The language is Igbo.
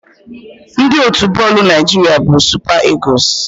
Ndị otu bọọlụ Naịjiria bụ Super Eagles.